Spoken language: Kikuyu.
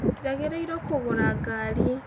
Njagĩrĩirwo kũgũra ngari